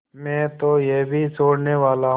मैं तो यह भी छोड़नेवाला हूँ